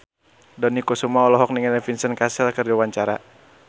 Dony Kesuma olohok ningali Vincent Cassel keur diwawancara